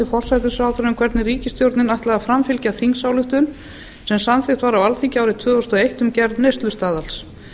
forsætisráðherra um hvernig ríkisstjórnin ætlaði að framfylgja þingsályktun sem samþykkt var á alþingi árið tvö þúsund og eitt um gerð neyslustaðals